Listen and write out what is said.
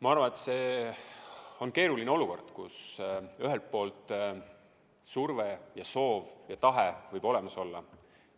Ma arvan, et see on keeruline olukord, kus tõesti surve ja soov ja tahe võib olemas olla,